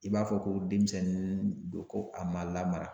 I b'a fɔ ko denmisɛnnin don ko a ma lamara.